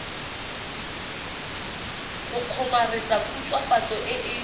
go kgomaretsa khutswafatso e e